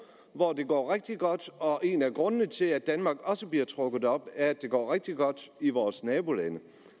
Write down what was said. hvor det går rigtig godt og en af grundene til at danmark også bliver trukket op er at det går rigtig godt i vores nabolande